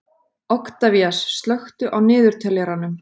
Oktavías, slökktu á niðurteljaranum.